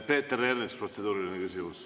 Peeter Ernits, protseduuriline küsimus.